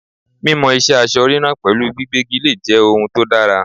Mímọ ìṣe aṣọ ríran pẹ̀lú gbígbégi lére jẹ́ ohun tó dára.